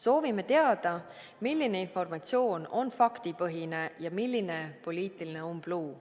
Soovime teada, milline informatsioon on faktipõhine ja milline poliitiline umbluu.